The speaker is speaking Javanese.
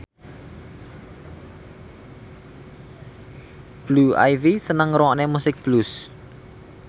Blue Ivy seneng ngrungokne musik blues